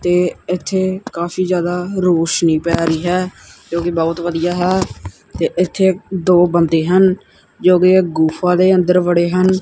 ਤੇ ਇੱਥੇ ਕਾਫੀ ਜਿਆਦਾ ਰੌਸ਼ਨੀ ਪਏ ਰਹੀ ਹੈ ਜੋ ਕਿ ਬਹੁਤ ਵਧੀਆ ਹੈ ਤੇ ਇੱਥੇ ਦੋ ਬੰਦੇ ਹਨ ਜੋ ਕਿ ਗੁਫ਼ਾ ਦੇ ਅੰਦਰ ਵੜੇ ਹਨ।